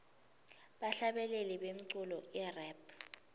bahlabeleli bemculo irap